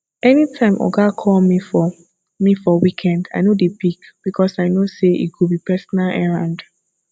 anytime oga call me for me for weekend i no dey pick because i know say e go be personal errand